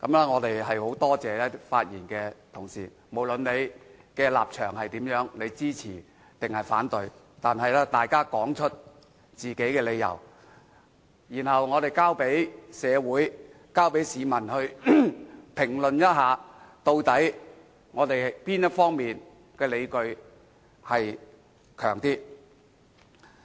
我很感謝發言的同事，無論他們的立場為何，是支持還是反對這項議案，他們都說出了各自的理由，而我們應讓社會和市民評論究竟哪一方的理據較強。